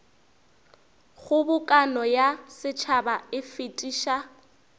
kgobokano ya setšhaba e fetiša